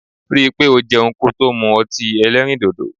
Rí i pé o jẹun kò tó mu ọtí èlérìndodo.